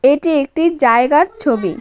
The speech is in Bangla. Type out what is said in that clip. এটি একটি জায়গার ছবি।